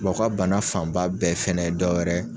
Wa u ka bana fanba bɛɛ fɛnɛ ye dɔwɛrɛ ye